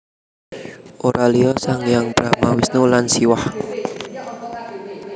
Ora liya sang hyang Brahma Wisnu lan Siwah